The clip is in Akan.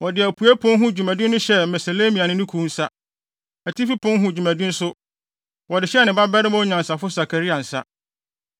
Wɔde apuei pon ho dwumadi no hyɛɛ Meslemia ne ne kuw nsa. Atifi pon ho dwumadi nso, wɔde hyɛɛ ne babarima onyansafo Sakaria nsa.